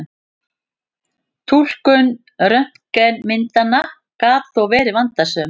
Túlkun röntgenmyndanna gat þó verið vandasöm.